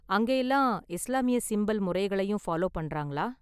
அங்க எல்லாம் இஸ்லாமிய சிம்பல் முறைகளையும் ஃபாலோ பண்றாங்களா?